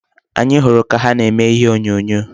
Anyị hụrụ ha ka na-eme ihe onyonyo.